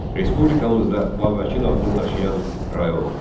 Respublikamızda Babəkin adını daşıyan rayon var.